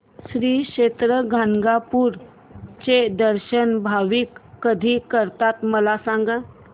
श्री क्षेत्र गाणगापूर चे दर्शन भाविक कधी करतात मला सांग